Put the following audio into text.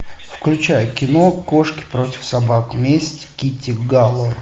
включай кино кошки против собак месть китти галор